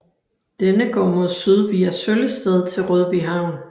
Denne går mod syd via Søllested til Rødbyhavn